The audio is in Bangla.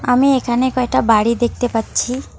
আমি এখানে কয়টা বাড়ি দেখতে পাচ্ছি।